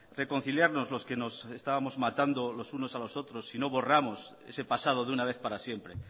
reconciliarnos los que nos estábamos matando los unos a los otros si no borramos ese pasado de una vez para siempre